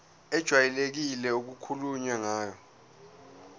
ejwayelekile okukhulunywe ngayo